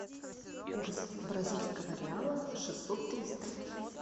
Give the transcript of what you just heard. курс бразильского реала шестьсот триста